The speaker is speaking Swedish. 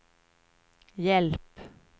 hjälp